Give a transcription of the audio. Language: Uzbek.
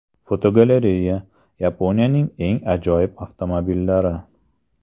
Fotogalereya: Yaponiyaning eng ajoyib avtomobillari.